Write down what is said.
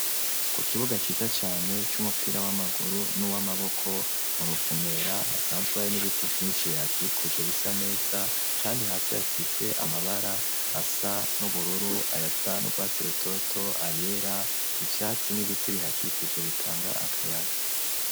Ku kibuga ciza cane c'umupira w'amaguru nuw'amaboko muruvumera hasanzwe hari n'ibiti vyinshi bihakikuje bisa neza, kandi hasi hasize amabara asa n'ubururu, ayasa n'ugwatsi rutoto ,ayera, ivyatsi n'ibiti bihakikuje bitanga akayaga.